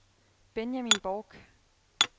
Benjamin Borch